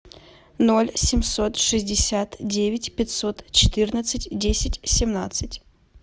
ноль семьсот шестьдесят девять пятьсот четырнадцать десять семнадцать